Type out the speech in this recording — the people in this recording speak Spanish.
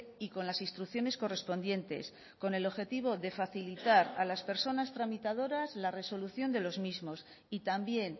y con las instrucciones correspondientes con el objetivo de facilitar a las personas tramitadoras la resolución de los mismos y también